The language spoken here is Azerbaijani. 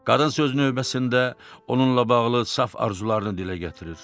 Qadın sözün növbəsində onunla bağlı saf arzularını dilə gətirir.